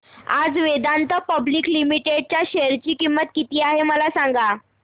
आज Vedanta public limited च्या share ची किंमत किती आहे मला सांगा